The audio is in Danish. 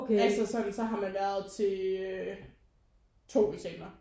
Altså sådan så har man været til to eksaminer